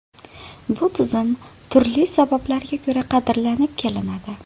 Bu tizim turli sabablarga ko‘ra qadrlanib kelinadi.